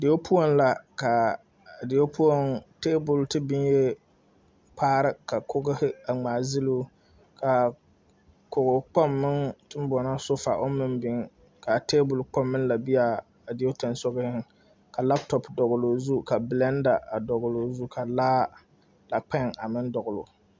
Deo poɔŋ la kaa deo poɔŋ tabol te biŋyee kpaare ka kogehi a ngmaagyiloo kaa koge kpoŋ meŋ teŋ boɔnɔ sofa oŋ meŋ biŋ kaa tabol kpoŋ meŋ la be aa a deo seŋsugliŋ ka laptɔp dɔgloo zu ka blɛnda a dɔgloo zu ka laa lakpèè a meŋ dɔgloo gyu.